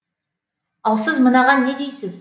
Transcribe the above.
ал сіз мынаған не дейсіз